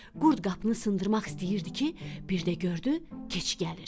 Qurd qapını sındırmaq istəyirdi ki, bir də gördü keçi gəlir.